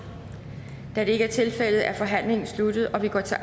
da det ikke er tilfældet er forhandlingen sluttet og vi går til